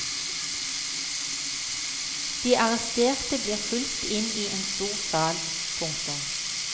De arresterte blir fulgt inn i en stor sal. punktum